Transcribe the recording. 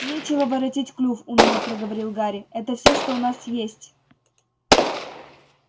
нечего воротить клюв уныло проговорил гарри это всё что у нас есть